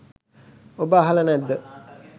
ඔබ අහල නැද්ද.